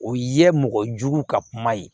O ye mɔgɔ jugu ka kuma ye